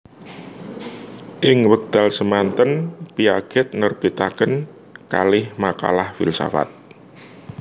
Ing wekdal semanten Piaget nerbitaken kalih makalah filsafat